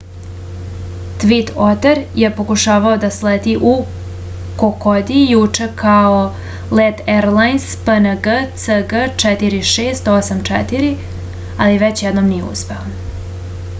tvin oter je pokušavao da sleti u kokodi juče kao let erlajns png cg4684 ali već jednom nije uspeo